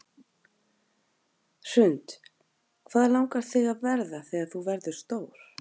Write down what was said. Hrund: Hvað langar þig að verða þegar þú verður stór?